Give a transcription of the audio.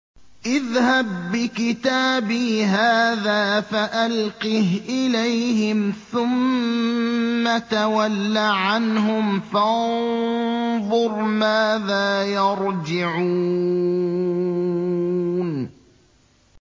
اذْهَب بِّكِتَابِي هَٰذَا فَأَلْقِهْ إِلَيْهِمْ ثُمَّ تَوَلَّ عَنْهُمْ فَانظُرْ مَاذَا يَرْجِعُونَ